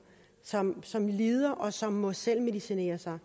som som lider og som må selvmedicinere sig